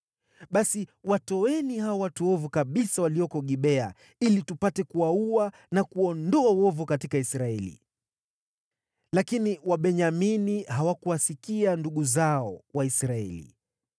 Basi watoeni hao watu waovu kabisa walioko Gibea, ili tupate kuwaua na kuondoa uovu katika Israeli.” Lakini Wabenyamini hawakuwasikia ndugu zao, Waisraeli.